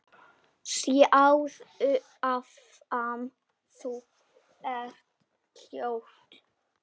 Sjáðu hvað þú ert ljót.